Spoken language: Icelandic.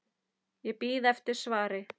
Ég bíð eftir svari.